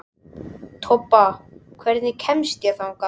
Tobba, hvernig kemst ég þangað?